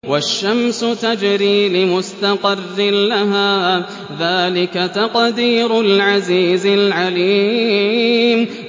وَالشَّمْسُ تَجْرِي لِمُسْتَقَرٍّ لَّهَا ۚ ذَٰلِكَ تَقْدِيرُ الْعَزِيزِ الْعَلِيمِ